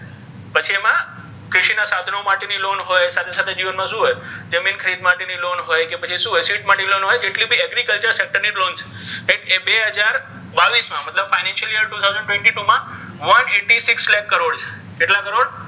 બધા સાધનો માટે નિ loan હોય સાથે સાથે જિવન મા શુ હોય જમિન ખરિદવાનિ loan હોય્ કે પછિ શુ હોય જેટલી ભી agriculture માટેની loan છે right એ બે હજાર બાવીસ મા મતલબ financial two thousand twenty-twoone eighty six lakh crore ની loan છે કેટલા કરોડ,